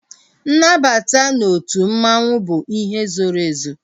Nnabata n'otu mmanwu bụ ihe zoro ezo